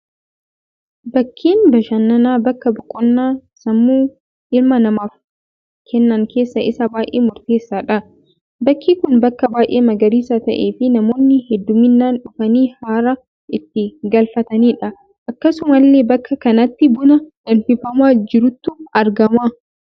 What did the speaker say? Bakkeen bashannanaa, bakka boqonnaa sammuu ilma namaaf kennan keessaa isa baayyee murteessaadha. Bakki Kun, bakka baayyee magariisaa ta'ee fi namoonni hedduminaan dhufanii haara itti galfatanidha. Akkasuma illee bakka kanatti buna danfifamaa jirutu argama.